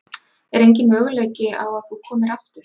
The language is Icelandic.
Er enginn möguleiki á að þú komir aftur?